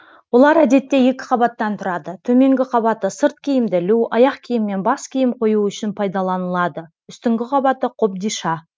олар әдетте екі қабаттан тұрады төменгі қабаты сырт киімді ілу аяқ киім мен бас киім қою үшін пайдаланылады үстіңгі қабаты қобдиша